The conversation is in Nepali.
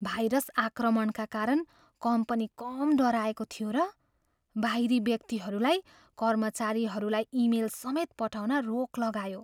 भाइरस आक्रमणका कारण कम्पनी कम डराएको थियो र! बाहिरी व्यक्तिहरूलाई कर्मचारीहरूलाई इमेल समेत पठाउन रोक लगायो।